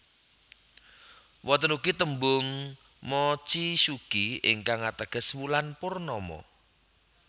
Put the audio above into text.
Wonten ugi tembung mochizuki ingkang ateges wulan purnama